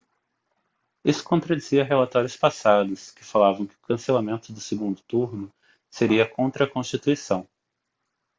isso contradizia relatórios passados que falavam que o cancelamento do segundo turno seria contra a constituição